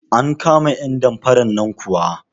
An kama 'yan damfaran nan kuwa?